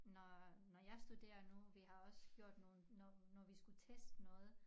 Når når jeg studerer nu vi har også gjort nogen når når vi skulle teste noget